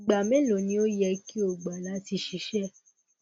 igba melo ni o yẹ ki o gba lati ṣiṣẹ